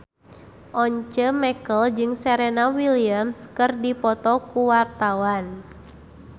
Once Mekel jeung Serena Williams keur dipoto ku wartawan